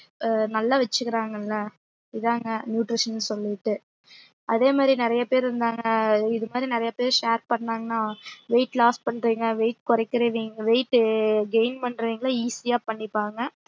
நல்லா வச்சுகக்குராங்கள இதாங்க nutrition ன்னு சொல்லிட்டு அதேமாறி நறைய பேர் இருந்தாங்க இதுமாறி நறைய பேர் share பண்ணாங்கன்னா weight loss பண்றவிங்க weight கொரக்கிரவங்க weight gain பண்றவிங்கள easy யா பண்ணிப்பாங்க